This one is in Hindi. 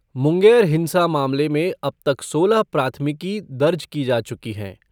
मुंगेर हिंसा मामले में अब तक सोलह प्राथमिकी दर्ज की जा चुकी हैं।